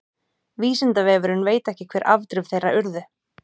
vísindavefurinn veit ekki hver afdrif þeirra urðu